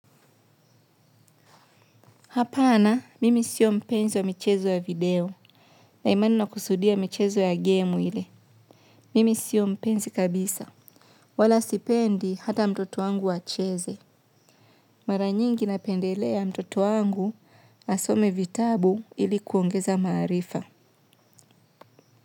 Hapana, mimi siyo mpenzi wa michezo ya video. Na hii maneno ya kusudia michezo ya game ile. Mimi siyo mpenzi kabisa. Wala sipendi hata mtoto wangu acheze. Mara nyingi napendelea mtoto wangu asome vitabu ili kuongeza maarifa.